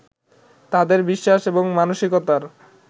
তাঁদের বিশ্বাস এবং মানসিকতার